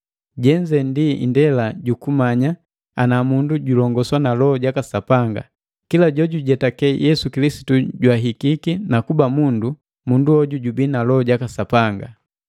Jenze ndi indela jukumanya ana mundu jojulongoswa na Loho jaka Sapanga: Kila jojujetake Yesu Kilisitu jwahikiki, na kuba mundu, mundu hoju jubii na Loho jaka Sapanga.